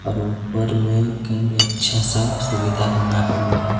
और ऊपर में कहीं अच्छा सा सुविधा बना हुआ है।